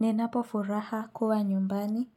Ninapo furaha kuwa nyumbani